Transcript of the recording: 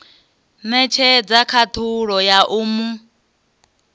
netshedza khathulo ya u mu